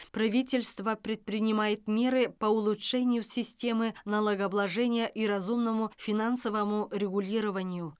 правительство предпринимает меры по улучшению системы налогообложения и разумному финансовому регулированию